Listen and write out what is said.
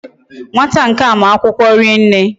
Nwata nkea ma akwukwo rienne